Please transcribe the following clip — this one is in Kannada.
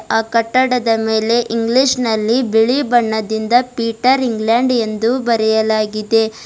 ಆ ಕಟ್ಟಡದ ಮೇಲೆ ಇಂಗ್ಲಿಷ್ ನಲ್ಲಿ ಬಿಳಿ ಬಣ್ಣದಿಂದ ಪೀಟರ್ ಇಂಗ್ಲೆಂಡ್ ಎಂದು ಬರೆಯಲಾಗಿದೆ.